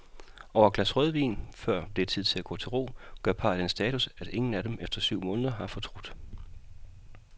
Over et glas rødvin, før det er tid at gå til ro, gør parret den status, at ingen af dem efter syv måneder har fortrudt.